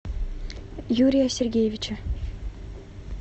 юрия сергеевича